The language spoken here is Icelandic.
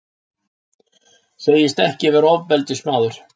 Segist ekki vera ofbeldismaður.